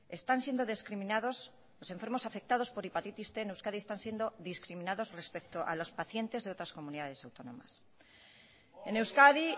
están siendo discriminados los enfermos afectados por hepatitis cien en euskadi están siendo discriminados respecto a los pacientes de otras comunidades autónomas en euskadi